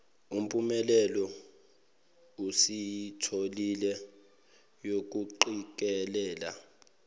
mpumelelo esiyitholile yokuqikelela